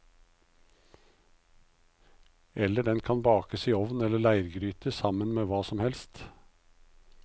Eller den kan bakes i ovn eller leirgryte sammen med hva som helst.